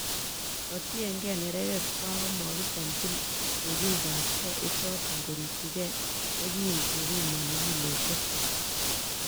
Kotienge nerekekwak, komokichomchi lugikab kee ichoton korikyigei ye kin kepimoni kiloisiekwak.